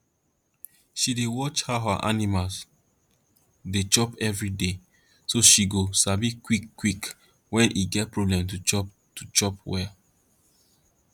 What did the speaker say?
she dey watch how her animal dey chop everyday so she go sabi quick quick wen e get problem to chop to chop well